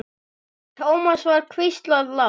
Thomas var hvíslað lágt.